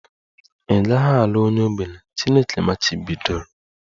Ị gaghị alụ onye ogbenye! Chineke machibidoro